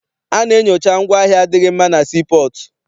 A na-enyocha ngwaahịa adịghị mma na sii pọọtụ.